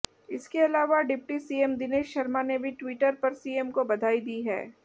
इसके अलावा deputy CM Dinesh Sharma ने भी ट्वीटर पर सीएम को बधाई दी है